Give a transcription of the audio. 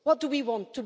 What do we want?